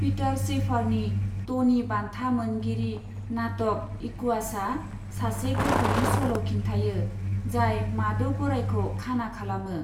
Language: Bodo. पीटार शैफारनि ट'नी बान्था मोनगिरि नाटक, इकुवासआ, सासे गथ'नि सल' खिन्थायो, जाय माद' गरायखौ खाना खालामो।